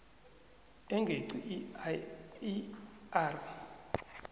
engeqi i r